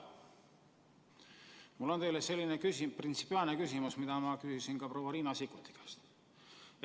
Mul on teile printsipiaalne küsimus, mida ma küsisin ka proua Riina Sikkuti käest.